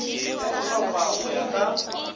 ya dihlopha go ya ka